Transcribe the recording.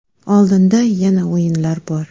Oldinda yana o‘yinlar bor.